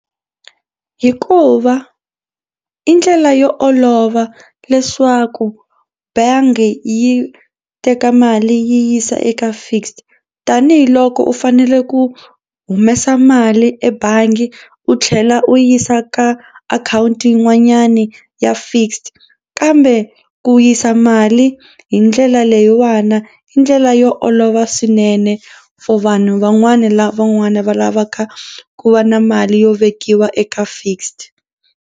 Hikuva i ndlela yo olova leswaku bangi yi teka mali yi yisa eka fixed tanihiloko u fanele ku humesa mali ebangi u tlhela u yisa ka akhawunti yin'wanyani ya fixed kambe ku yisa mali hi ndlela leyiwani i ndlela yo olova swinene for vanhu van'wani lava van'wani va lavaka ku va na mali yo vekiwa eka fixed.